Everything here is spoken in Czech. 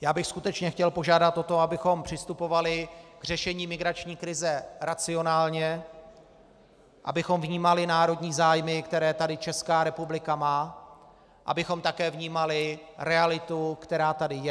Já bych skutečně chtěl požádat o to, abychom přistupovali k řešení migrační krize racionálně, abychom vnímali národní zájmy, které tady Česká republika má, abychom také vnímali realitu, která tady je.